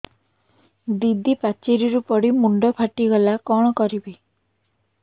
ଦିଦି ପାଚେରୀରୁ ପଡି ମୁଣ୍ଡ ଫାଟିଗଲା କଣ କରିବି